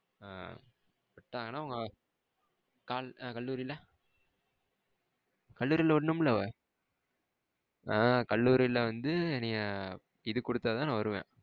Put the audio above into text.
ஆ விட்டங்கனா உங்க கா கல்லூரில கல்லூரில விடனும்ல ஆ கல்லூரில வந்து என்னையா இது குடுத்தாதான் நா வருவேன்.